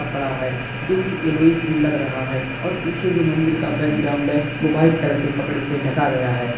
कपड़ा है जो कि येलोइश भी लग रहा है और पीछे जो मंदिर का बैकग्राउंड है वो व्हाइट कलर के कपड़े से ढ़का गया है।